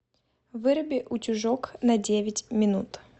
выруби утюжок на девять минут